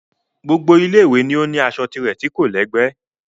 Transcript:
Gbogbo Ilé ìwé ni ó ní aṣọ tirẹ̀ tí kò lẹ́gbẹ́